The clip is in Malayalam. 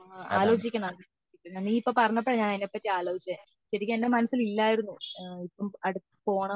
ആലോചിക്കണം പിന്നെ നെ ഇപ്പൊ പറഞ്ഞപ്പോ ഞാൻ ഇതിനെ പാട്ടി ആലോചിച്ചേ ശെരിക്കും എന്റെ മനസ്സിൽ ഇല്ലായിരുന്നു ഈ അടുത്ത